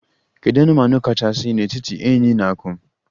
Kedu anụmanụ kachasị n'etiti enyí na akum?